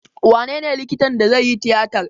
Wanene likitan da zai yi tiyatar?